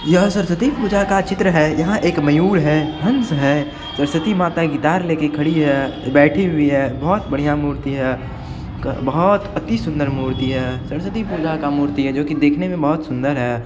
यह सरस्वती पूजा का चित्र है यहां एक मयूर है हंस है सरस्वती माता गिटार लेकर खड़ी है बैठी हुई है बहुत बढ़िया मूर्ति है बहुत अति सुंदर मूर्ति है सरस्वती पूजा का मूर्ति है जो की देखने में बहुत सुंदर है।